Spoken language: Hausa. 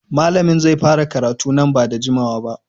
Malamin zai fara karatun nan ba da jimawa ba.